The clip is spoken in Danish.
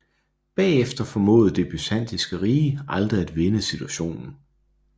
Bagefter formåede Det Byzantinske Rige aldrig at vende situationen